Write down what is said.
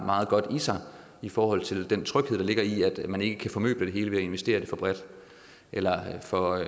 meget godt i sig i forhold til den tryghed der ligger i at man ikke kan formøble det hele ved at investere for bredt eller for